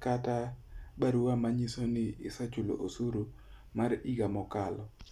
kata barua manyiso ni isechulo osuru ma higa mokalo.